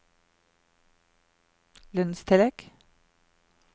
lønnstillegg